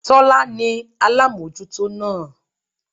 Tólá ní alámójútó náà